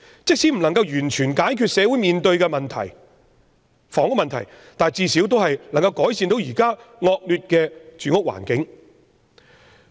即使無法完全解決社會面對的房屋問題，但最少能改善現時惡劣的住屋環境。